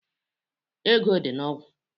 Ego dị na ogwu